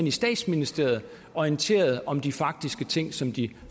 i statsministeriet orienteret om de faktiske ting som de